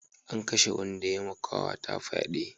An kashe wanda ya ma kawata fyade